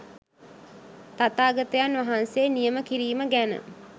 තථාගතයන් වහන්සේ නියම කිරීම ගැන